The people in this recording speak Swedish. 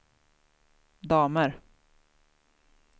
damer